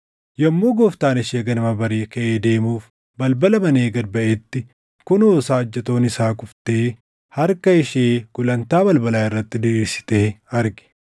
Yommuu gooftaan ishee ganama barii kaʼee deemuuf balbala banee gad baʼetti, kunoo saajjatoon isaa kuftee harka ishee gulantaa balbalaa irratti diriirsitee arge.